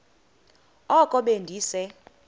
oko be ndise